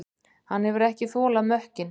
Hann hefur ekki þolað mökkinn.